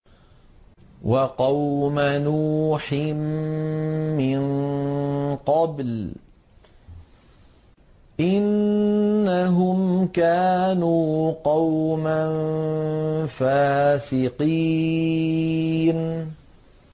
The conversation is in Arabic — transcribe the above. وَقَوْمَ نُوحٍ مِّن قَبْلُ ۖ إِنَّهُمْ كَانُوا قَوْمًا فَاسِقِينَ